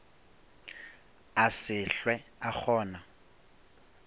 a se hlwe a kgona